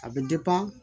A bɛ